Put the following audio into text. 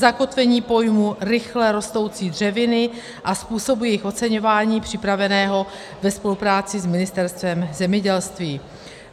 zakotvení pojmu rychle rostoucí dřeviny a způsobu jejich oceňování připraveného ve spolupráci s Ministerstvem zemědělství;